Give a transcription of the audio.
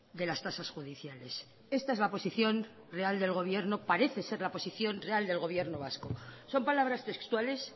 de las tasas judiciales esta es la posición real del gobierno parece ser la posición real del gobierno vasco son palabras textuales